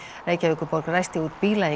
Reykjavíkurborg ræsti út bíla í